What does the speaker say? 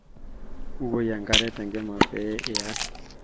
bukoi enkare tenkima pee iyara